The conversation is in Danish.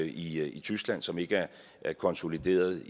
i tyskland som ikke er konsolideret